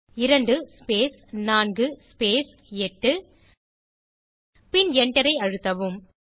2 space 4 space 8 பின் Enter ஐ அழுத்தவும்